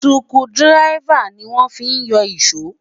skru diraifa ní wọn fí yó iso